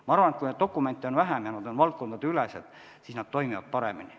Ma arvan, et kui nende dokumentide arv on vähenenud, nad on valdkondadeülesed, siis nad toimivad paremini.